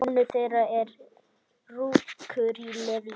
Sonur þeirra er Rúrik Leví.